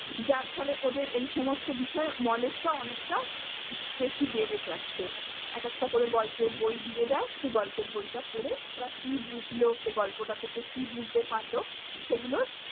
যার ফলে ওদের এই সমস্ত বিষয়ে knowledge টা অনেকটা বে~ বেশি বেড়ে যাচ্ছে। এক একটা করে গল্পের বই দিয়ে দেয় সেই গল্পের বইটা পড়ে ওরা কী বুঝলো সেই গল্পটা থেকে কী বুঝতে পারলো সেগুলো